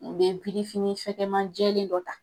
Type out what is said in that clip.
U bɛ birifini fɛkɛman jɛlen dɔ ta.